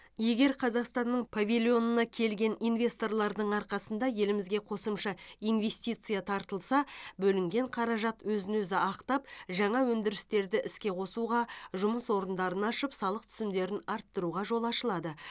егер қазақстанның павильонына келген инвесторлардың арқасында елімізге қосымша инвестиция тартылса бөлінген қаражат өзін өзі ақтап жаңа өндірістерді іске қосуға жұмыс орындарын ашып салық түсімдерін арттыруға жол ашылады